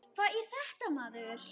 Hvað er þetta maður?